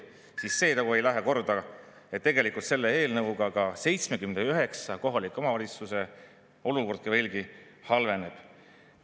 See nagu ei lähe korda, et tegelikult selle eelnõuga ka 79 kohaliku omavalitsuse olukord veelgi halveneb.